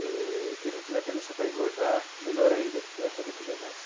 É, e quem não tiver tendência para engordar, melhor ainda, porque vai poder comer mais.